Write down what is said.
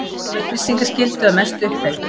Lög um upplýsingaskyldu að mestu uppfyllt